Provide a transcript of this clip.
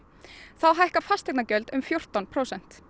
þá hækka fasteignagjöld um fjórtán prósent